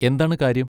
എന്താണ് കാര്യം?